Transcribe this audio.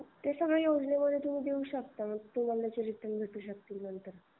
ते सगळ तुम्ही योजनेमध्ये देऊ शकता तुम्हाला भेटू शकते रिटर्न.